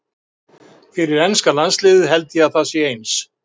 Fyrir enska landsliðið held ég að það sé eins.